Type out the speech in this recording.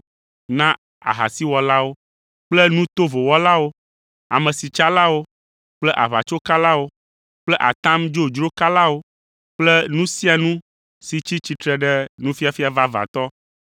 na ahasiwɔlawo kple nu tovo wɔlawo, amesitsalawo kple aʋatsokalawo kple atam dzodzro kalawo kple nu sia nu si tsi tsitre ɖe nufiafia vavãtɔ